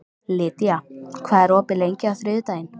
Lydia, hvað er opið lengi á þriðjudaginn?